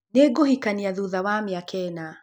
Nĩ ngũhikania thũtha wa mĩaka ĩna.